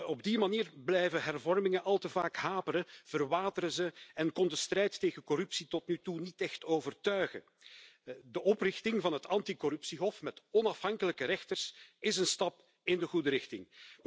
Op die manier blijven hervormingen al te vaak haperen, verwateren ze en kon de strijd tegen corruptie tot nu toe niet echt overtuigen. De oprichting van het anti corruptiehof, met onafhankelijke rechters, is een stap in de goede richting.